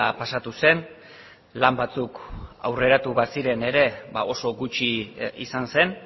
pasatu zen lan batzuk aurreratu baziren ere ba oso gutxi izan zen